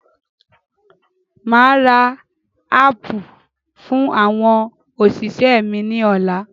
Máa ra ápù fún àwọn òṣìṣẹ́ mi ni ọ̀la.